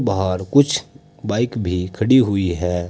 बाहर कुछ बाइक भी खड़ी हुई है।